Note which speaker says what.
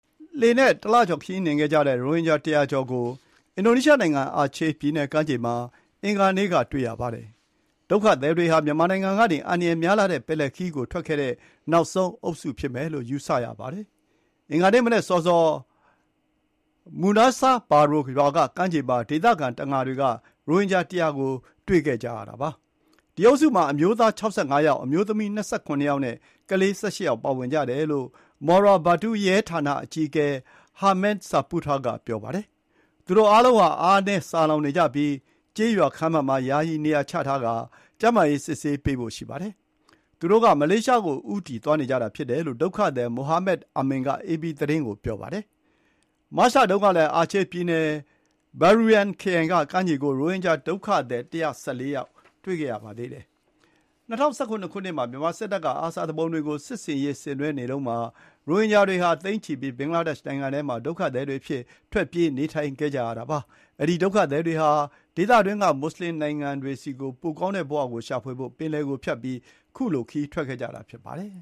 Speaker 1: လှေနဲ့တလကျော်ခရီးနှင်ခဲ့တဲ့ရိုဟင်ဂျာ ၁၀၀ ကျော်ဟာ အင်ဒိုနီးရှားနိုင်ငံ အာချေးပြည်နယ်ကမ်းခြေကို ရောက်လာတဲ့အကြောင်း အင်ဒိုနီးရှားရဲဌာန အကြီးအကဲက အင်္ဂါနေ့ကပြောပါတယ်။ ဒုက္ခသည်တွေဟာ မြန်မာနိုင်ငံကနေ အန္တရာယ်များလှတဲ့ ပင်လယ်ခရီးကိုထွက်ခဲ့တဲ့ နောက်ဆုံးအုပ်စုဖြစ်မယ်လို့ ယူဆရပါတယ်။ ဒီကနေ့မနက်စောစော Meunasah Baro ရွာကကမ်းခြေမှာ ဒေသခံတံငါတွေ က ရိုဟင်ဂျာ ၁၁၀ ကို တွေ့ကြတာပါ။ ဒီအုပ်စုမှာ အမျိုးသား ၆၅ ယောက်၊ အမျိုးသမီး ၂၇ ယောက်နဲ့ကလေး ၁၈ ယောက် ပါဝင်ကြတယ်လို့ Muara Batu ရဲဌာနအကြီးအကဲ Herman Saputra က ပြောပါတယ်။ သူတို့အားလုံးဟာ အားနည်းဆာလောင်နေကြပြီး ကျေးရွာခန်းမမှာ ယာယီနေရာချထားပြီး ကျန်းမာရေး စစ်ဆေးပေးဖို့ ရှိပါတယ်။ သူတို့က မလေးရှားကို ဦးတည်သွားနေကြတာဖြစ်တယ်လို့ ဒုက္ခသည် Muhammad Amin က အေပီသတင်းကို ပြောပါတယ်။ မတ်လတုန်းကလည်း အာချေးပြည်နယ် Bireuen ခရိုင်ကကမ်းခြေကို ရိုဟင်ဂျာဒုက္ခသည် ၁၁၄ ယောက်ကို တွေ့ခဲ့ပါသေးတယ်။ ၂၀၁၇ ခုနှစ်မှာ မြန်မာစစ်တပ်က အာဆာ သူပုန်တွေကို စစ်ဆင်ရေးဆင်နွှဲနေတုန်းမှာ ရိုဟင်ဂျာတွေဟာ သိန်းချီပြီး ဘင်္ဂလားဒေ့ရှ်နိုင်ငံမှာ ဒုက္ခသည်တွေ အဖြစ် ထွက်ပြေးနေထိုင်နေကြရပါတယ်။ ဒီ ဒုက္ခသည်တွေဟာ ဒေသတွင်းက မူဆလင်နိုင်ငံတွေဆီကို ပိုကောင်းတဲ့ဘဝကိုရှာဖွေဖို့ ပင်လယ်ကိုဖြတ်ပြီး ခရီးထွက်ခဲ့ကြတာ ဖြစ်ပါတယ်